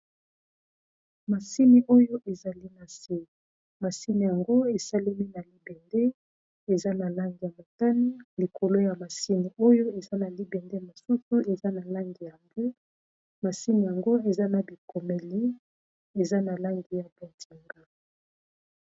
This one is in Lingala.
Masini oyo ezali na se, masini yango esalemi na libende eza na langi ya motani. Likolo ya masini oyo eza na libende mosusu eza na langi ya mbwe, masini yango eza na bikomeli eza na langi ya bonzinga.